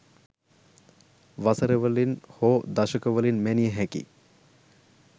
වසර වලින් හෝ දශක වලින් මැනිය හැකි